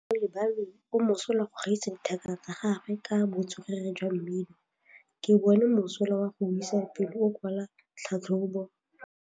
Gaolebalwe o mosola go gaisa dithaka tsa gagwe ka botswerere jwa mmino. Ke bone mosola wa go buisa pele o kwala tlhatlhobô.